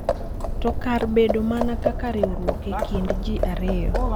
To kar bedo mana kaka riwruok e kind ji ariyo.